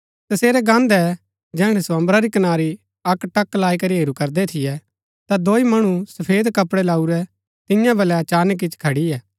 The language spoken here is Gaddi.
तसेरै गान्दै जैहणै सो अम्बरा री कनारी अक्कटक लाई करी हेरू करदै थियै ता दोई मणु सफेद कपड़ै लाऊरै तियां बलै अचानक ईच्ची खड़ियै